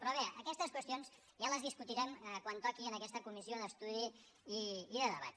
però bé aquestes qüestions ja les discutirem quan toqui en aquesta comissió d’estudi i de debat